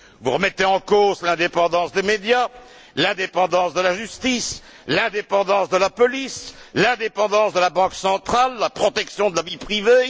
Vous remettez en cause l'indépendance des médias, l'indépendance de la justice, l'indépendance de la police, l'indépendance de la Banque centrale, la protection de la vie privée.